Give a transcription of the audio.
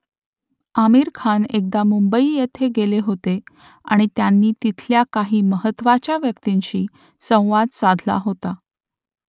आमीर खान एकदा मुंबई येथे गेले होते आणि त्यांनी तिथल्या काही महत्त्वाच्या व्यक्तींशी संवाद साधला होता